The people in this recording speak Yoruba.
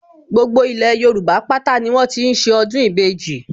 Gbogbo ilẹ̀ Yorùbá pátá ni wọ́n ti ń ṣe ọdún ìbejì